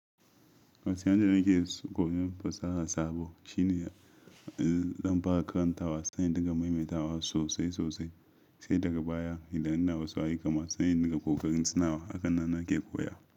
Wasu yanayin da nake koyon fasaha sabo shine zan fara karantawa sai in dinga maimaita sosai sosai, sai daga baya idan ina wasu ayyuka masu yin daga ƙoƙarin tunawa haka nan nake koya.